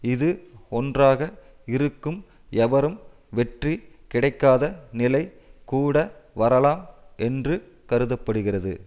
இது ஒன்றாக இருக்கும் எவரும் வெற்றி கிடைக்காத நிலை கூட வரலாம் என்று கருத படுகிறது